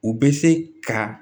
U bɛ se ka